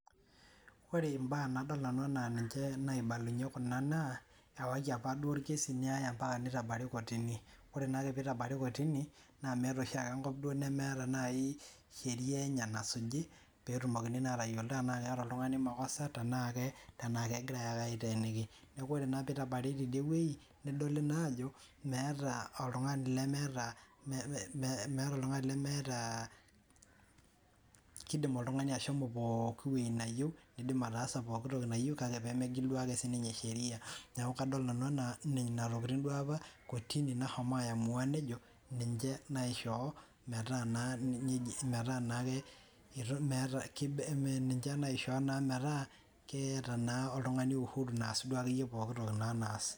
Ore mbaa nadol anaa ninye naaibalunye kuna naa ewaki apa orkesi kortini. Ore naa pee itabari kortini, naa meeta oshi ake enkop nemeeta sheriaa enye nasuji pee etumokini aatayiolo tenaa keeta oltung'ani makosa tenaa kegirae naa aaiteeniki. Neeku naa ore naa pitabari tidie wueji, nedoli naa aajo meeta oltung'ani lemeeta kidim oltung'ani ataasa pooki toki nayieu nidim ashomo pooki wueji neyieu kake pee megil ake sheria. Neeku kadol nanu anaa nena tokitin enaa kortini apa ake nashomo aaiyamuwa, ninche naaishoo metaa keeta oltung'ani uhuru naa naasie.